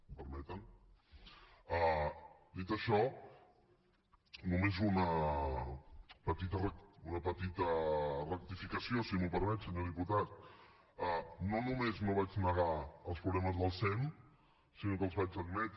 em permeten dit això només una petita rectificació si m’ho permet senyor diputat no només no vaig negar els problemes del sem sinó que els vaig admetre